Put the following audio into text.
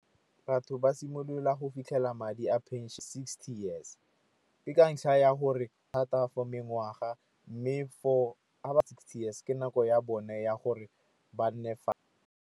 Batho ba simolola go fitlhela madi a phenšene sixty years. Ke ka ntlha ya gore thata for mengwaga mme for ba sixty years ke nako ya bone ya gore ba nne fa.